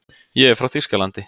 Ég er frá Þýskalandi.